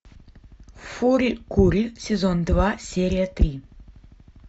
фури кури сезон два серия три